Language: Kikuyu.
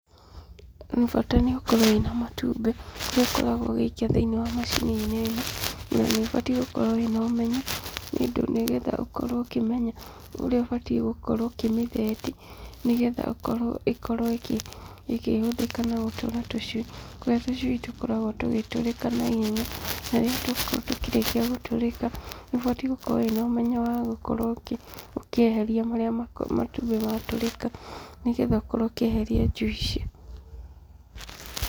Bata nĩũkorwo wĩna matumbĩ, nĩũkoragwo ũgĩikia thĩ-inĩ wa macini-inĩ ĩno. Na nĩ ũbatiĩ gũkorwo wĩna ũmenyo nĩundũ nĩ yendaga ũkorwo ũkĩmenya ũrĩa ũbatiĩ gũkorwo ũkĩmĩtheti, ni getha ĩkorwo ĩkĩhũthĩka na gũtũra tũcui, kũrĩa tũcui tũkoragwo tũgĩtũrĩka na ihenya. Na rĩrĩa twakorwo tũkĩrĩkia gũtũrĩka, nĩ ũbatiĩ gũkorwo wĩna ũmenyo wa gũkorwo ũkĩeheria marĩa matumbĩ matũrĩka, nĩ getha ũkorwo ũkĩeheria njui ici.